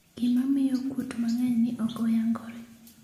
gima pmiyo kuot mang'eny ni ok oyangore